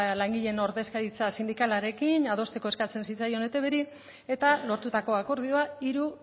langileen ordezkaritza sindikalarekin adosteko eskatzen zitzaion eitbri eta lortutako akordioa hiru